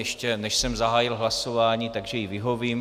Ještě než jsem zahájil hlasování, tak jí vyhovím.